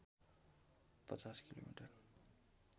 ५० kilometre